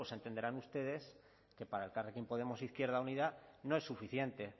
pues entenderán ustedes que para elkarrekin podemos e izquierda unida no es suficiente